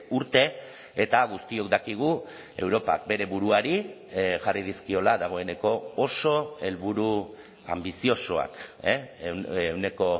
urte eta guztiok dakigu europak bere buruari jarri dizkiola dagoeneko oso helburu anbiziosoak ehuneko